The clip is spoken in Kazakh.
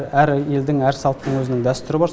әр елдің әр салттың өзінің дәстүрі бар